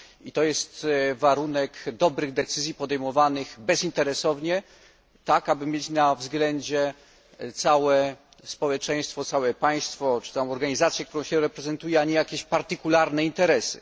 I to jest warunek dobrych decyzji podejmowanych bezinteresownie, tak aby mieć na względzie całe społeczeństwo, całe państwo czy organizację, którą się reprezentuje, a nie jakieś partykularne interesy.